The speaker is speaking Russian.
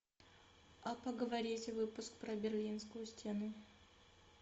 а поговорить выпуск про берлинскую стену